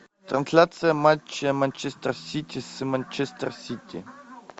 трансляция матча манчестер сити с манчестер сити